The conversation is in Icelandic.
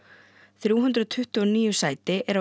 þrjú hundruð tuttugu og níu sæti eru á